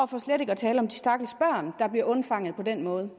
for slet ikke er tale om de stakkels børn der bliver undfanget på den måde